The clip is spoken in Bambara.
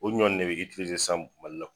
O ɲɔnni ne bɛ sisan Mali la